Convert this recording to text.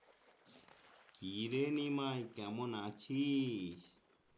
কিরে নিমাই কেমন আছিস?